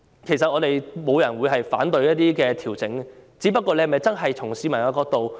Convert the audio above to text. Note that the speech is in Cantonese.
其實，沒有人會反對調整，只是政府有否從市民的角度考慮事情呢？